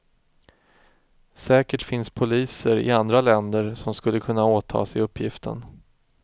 Säkert finns poliser i andra länder som skulle kunna åta sig uppgiften.